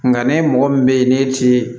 Nka ne mɔgɔ min bɛ yen n'e ti